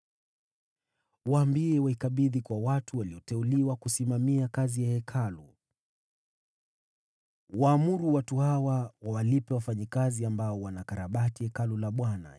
Waambie waikabidhi kwa watu walioteuliwa kusimamia kazi ya Hekalu. Waamuru watu hawa wawalipe wafanyakazi ambao wanakarabati Hekalu la Bwana :